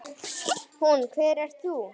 Hún: Hver ert þú?